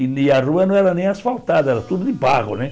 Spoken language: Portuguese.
E ni a rua não era nem asfaltada, era tudo de barro, né?